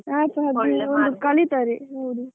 ಒಂದು ಕಲೀತಾರೆ.